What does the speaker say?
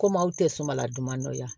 Komi aw tɛ sumanladuman dɔnya